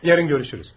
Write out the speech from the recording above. Sabah görüşərik.